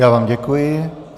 Já vám děkuji.